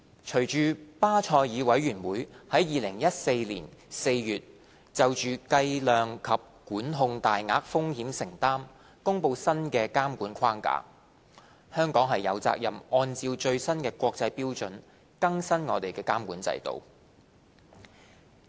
隨着巴塞爾委員會在2014年4月就計量及管控大額風險承擔公布新的監管框架，香港有責任按照最新國際標準，更新監管制度。